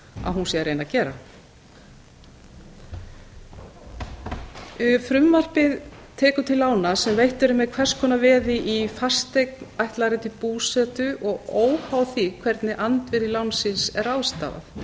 að hún sé að reyna að gera frumvarpið tekur til lána sem veitt eru með hvers konar veði í fasteign ætlaðri til búsetu og óháð því hvernig andvirði lánsins er